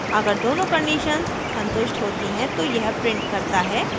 अगर दोनों conditions संतुष्ट होती हैं तो यह prints करता है: